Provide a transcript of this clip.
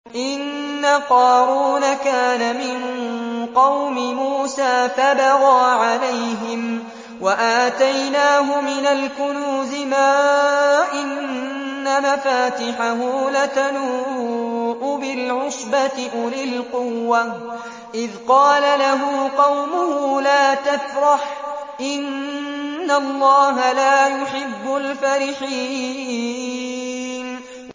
۞ إِنَّ قَارُونَ كَانَ مِن قَوْمِ مُوسَىٰ فَبَغَىٰ عَلَيْهِمْ ۖ وَآتَيْنَاهُ مِنَ الْكُنُوزِ مَا إِنَّ مَفَاتِحَهُ لَتَنُوءُ بِالْعُصْبَةِ أُولِي الْقُوَّةِ إِذْ قَالَ لَهُ قَوْمُهُ لَا تَفْرَحْ ۖ إِنَّ اللَّهَ لَا يُحِبُّ الْفَرِحِينَ